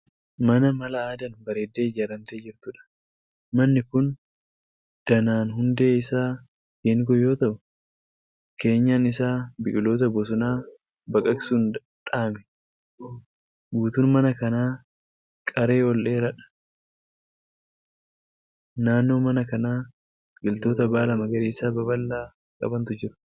Mana mala aadaan bareeddee ijaaramtee jirtuudha. Manni kun danaan hundee isaa geengoo yoo ta'u keenyan isaa biqiloota bosonaa baqaqsuun dha'ame. Guutuun mana kanaa qaree ol dheeraadha. Naannoo mana kanaa biqiloota baala magariisa babal'aa qabantu jira.